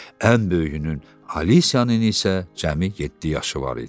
Ən böyüyünün, Alisiyanın isə cəmi yeddi yaşı var idi.